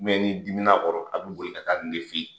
ni dimin'a kɔrɔ , a bɛboli ka taa nin de fɛ yen.